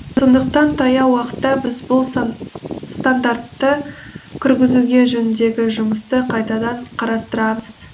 сондықтан таяу уақытта біз бұл стандартты кіргізуге жөніндегі жұмысты қайтадан қарастырамыз